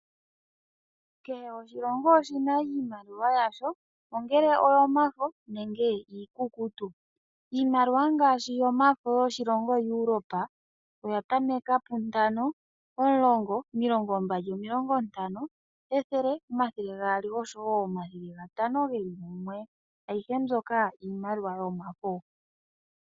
Kehe oshilongo oshi na iimaliwa yasho, ongele oyomafo nenge iikukutu. Iimaliwa ngaashi yomafo yiilongo yaEurope 5 Euro, 10 Euro, , 20 Euro, 50 Euro, 100 Euro, 200 Euro, 500 Euro, aihe mbyoka iimaliwa yomafo .